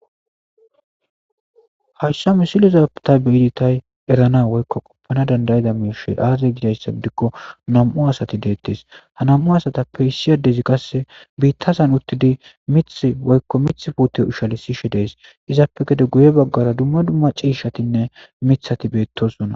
Hayissa misilozaptay beyidi tay erana woykko qoppana dandayida miirshe aaze gidayssa dikko nam'u asati deettes ha nam'u asatappe issi addezi qasse biitta san uttidi mith woykko mith pute ushale siishe dees izaappe gede guye baggara dumma dumma ciishatinne mithati beettosona